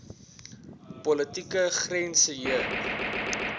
politieke grense heen